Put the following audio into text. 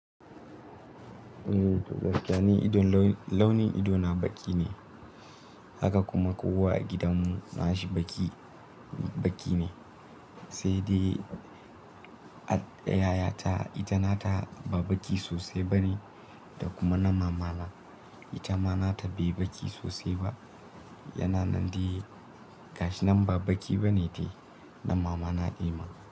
Eh, to gaskiya ni launin idona baki ne, haka kuma kowa a gidanmu na shi baki, baki ne. Sai dai yayata ita nata ba baƙi sosai ba ne, da kuma na mamana ita ma nata bai baƙi sosai ba. Yana nan dai gashi nan ba baki ba ne dai na mamana Ema.